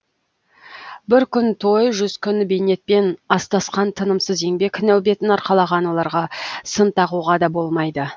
бір күн той жүз күн бейнетпен астасқан тынымсыз еңбек нәубетін арқалаған оларға сын тағуға да болмайды